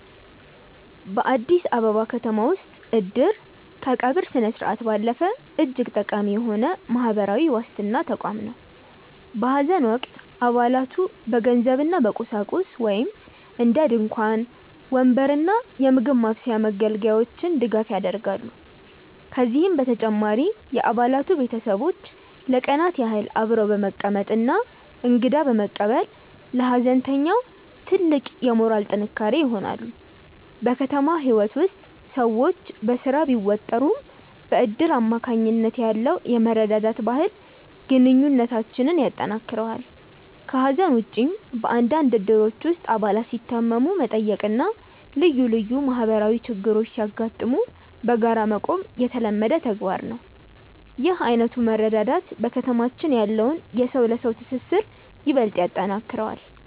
በአዲስ አበባ ከተማ ውስጥ "እድር" ከቀብር ስነስርዓት ባለፈ እጅግ ጠቃሚ የሆነ የማህበራዊ ዋስትና ተቋም ነው። በሐዘን ወቅት አባላቱ በገንዘብና በቁሳቁስ (እንደ ድንኳን፣ ወንበር እና የምግብ ማብሰያ መገልገያዎች) ድጋፍ ያደርጋሉ። ከዚህም በተጨማሪ የአባላቱ ቤተሰቦች ለቀናት ያህል አብረው በመቀመጥና እንግዳ በመቀበል ለሐዘንተኛው ትልቅ የሞራል ጥንካሬ ይሆናሉ። በከተማ ህይወት ውስጥ ሰዎች በስራ ቢወጠሩም፣ በእድር አማካኝነት ያለው የመረዳዳት ባህል ግንኙነታችንን ያጠናክረዋል። ከሐዘን ውጭም፣ በአንዳንድ እድሮች ውስጥ አባላት ሲታመሙ መጠየቅና ልዩ ልዩ ማህበራዊ ችግሮች ሲያጋጥሙ በጋራ መቆም የተለመደ ተግባር ነው። ይህ ዓይነቱ መረዳዳት በከተማችን ያለውን የሰው ለሰው ትስስር ይበልጥ ያጠነክረዋል።